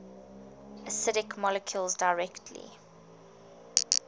acidic molecules directly